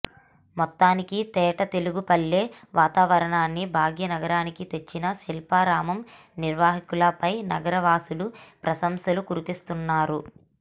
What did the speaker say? మొత్తానికి తేట తెలుగు పల్లె వాతావరణాన్ని భాగ్యనగరానికి తెచ్చిన శిల్పారామం నిర్వహకులపై నగర వాసులు ప్రశంసలు కురిపిస్తున్నారు